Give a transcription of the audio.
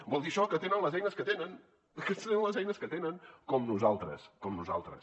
vol dir això que tenen les eines que tenen és que tenen les eines que tenen com nosaltres com nosaltres